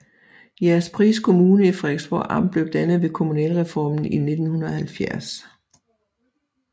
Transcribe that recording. Jægerspris Kommune i Frederiksborg Amt blev dannet ved kommunalreformen i 1970